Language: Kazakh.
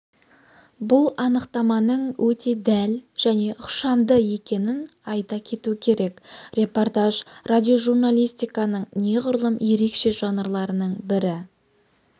бұл анықтаманың өте дәл және ықшамды екенін айта кету керек репортаж радиожурналистиканың неғұрлым ерекше жанрларының бірі